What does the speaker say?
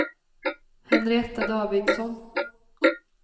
Henrietta Davidsson